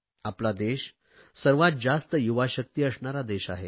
आपला देश सर्वात जास्त युवा शक्ती असणारा देश आहे